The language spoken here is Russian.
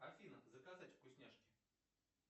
афина заказать вкусняшки